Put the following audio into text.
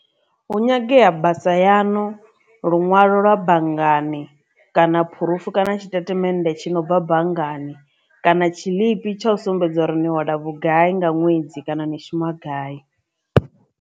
Hu nyangea basa yanu, lunwalo lwa banngani kana phurufu kana tshitatamennde tshi no bva banngani kana tshiḽipi tsha u sumbedza uri nṋe wela vhugai nga ṅwedzi kana ni shuma a gai.